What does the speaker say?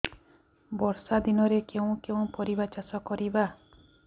ବର୍ଷା ଦିନରେ କେଉଁ କେଉଁ ପରିବା ଚାଷ କରିବା